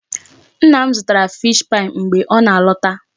Nna m zụtara fish pie mgbe ọ na-alọta.